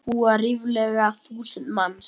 Þar búa ríflega þúsund manns.